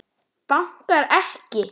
Bankar ekki.